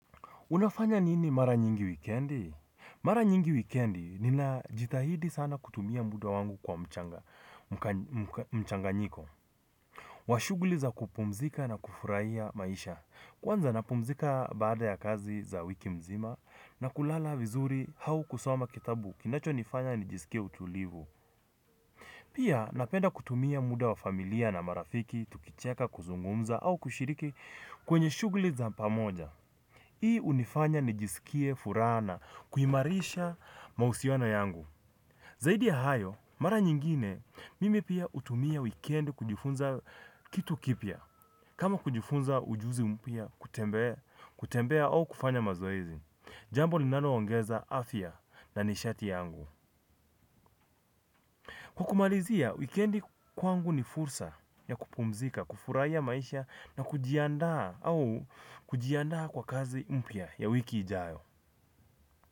Unafanya nini mara nyingi wikendi. Mara nyingi wikendi nina jitahidi sana kutumia muda wangu kwa mchanga nyiko. Wa shuguli za kupumzika na kufurahia maisha. Kwanza napumzika baada ya kazi za wiki mzima na kulala vizuri hau kusoma kitabu kinacho nifanya nijisikie utulivu. Pia napenda kutumia muda wa familia na marafiki tukicheka kuzungumza au kushiriki kwenye shuguli za pamoja. Hii unifanya ni jisikie furaha na, kuhimarisha mausiano yangu. Zaidi ya hayo, mara nyingine, mimi pia utumia weekend kujifunza kitu kipya. Kama kujifunza ujuzi mpya, kutembea, kutembea au kufanya mazoezi. Jambo linalo ongeza afia na nishati yangu. Kwa kumarizia, weekend kwangu ni fursa ya kupumzika, kufuraia maisha na kujiandaa au kujiandaa kwa kazi mpya ya wiki idayo.